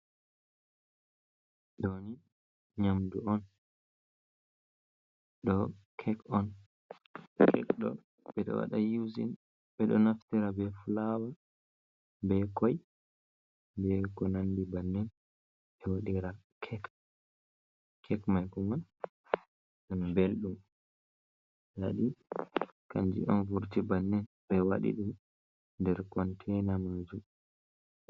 Ɗo ni nyamdu on, ɗo kek on, kek ɗo ɓeɗo wada yuzin ɓeɗo naftira be fulawa be koi, be ko nandi bannin ɓe waɗira kek. Kek mai kuma ɗum ɓelɗum nda ɗum kanjum on vurti bannin ɓe waɗi ɗum nder kontaina majum.